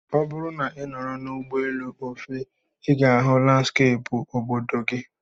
Ọ bụrụ na ị nọrọ n'ụgbọelu, o fee, I ga-ahụ landskeepụ obodo gị